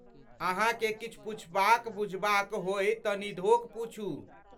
अहाँकेँ किछु पुछबाक बुझबाक होय तँ निधोख पूछू।